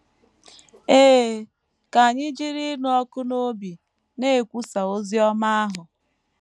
Ee, ka anyị jiri ịnụ ọkụ n’obi na - ekwusa ozi ọma ahụ!